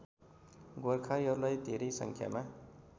गोर्खालीहरूलाई धेरै सङ्ख्यामा